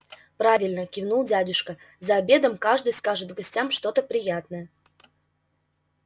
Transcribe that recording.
правильно кивнул дядюшка за обедом каждый скажет гостям что-то приятное